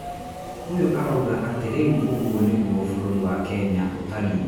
Uyu aroiga atĩ rĩu ũguo nĩguo bũrũri wa Kenya ũtariĩ.